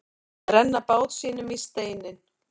Að renna bát sínum í steininn